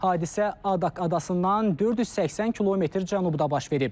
Hadisə Adak adasından 480 km cənubda baş verib.